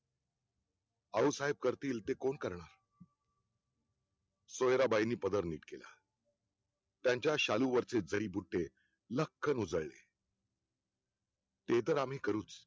आऊसाहेब करतील ते कोण करणार सोयराबाईंनी पदर नीट केला त्यांच्या शालू वरचे जडी बुट्टे लक्ख लॊजळले ते तर आम्ही करूच